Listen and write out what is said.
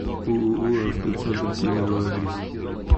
ооо автоцентр кемерово адрес